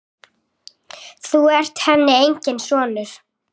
Þú ert henni enginn sonur.